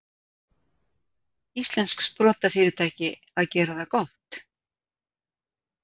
Íslenskt sprotafyrirtæki að gera það gott